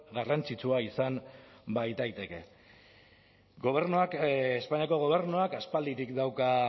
garrantzitsua izan baitaiteke gobernuak espainiako gobernuak aspalditik dauka